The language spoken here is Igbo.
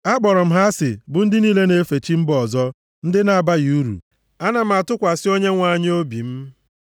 Akpọrọ m ha asị bụ ndị niile na-efe chi mba ọzọ ndị na-abaghị uru; ana m atụkwasị Onyenwe anyị obi m.